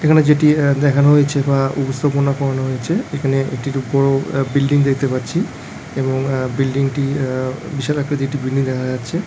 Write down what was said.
এখানে যেটি দেখানো হয়েছে বা উপস্থাপনা করানো হয়েছে এখানে একটি উপর বিল্ডিং দেখতে পাচ্ছি | এবং বিলডিং টি বিশাল আকৃতির একটি বিল্ডিং দেখা যাচ্ছে।